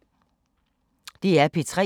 DR P3